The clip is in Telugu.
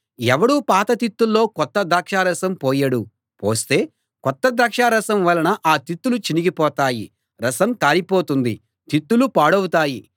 ఎవడూ పాత తిత్తుల్లో కొత్త ద్రాక్షారసం పోయడు పోస్తే కొత్త ద్రాక్షారసం వలన ఆ తిత్తులు చినిగిపోతాయి రసం కారిపోతుంది తిత్తులు పాడవుతాయి